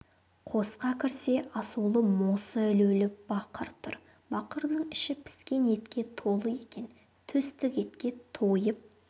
қосқа кірсе асулы мосы ілулі бақыр тұр бақырдың іші піскен етке толы екен төстік етке тойып